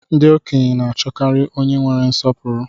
Ndị okenye na achọkarị onye nwere nsọpụrụ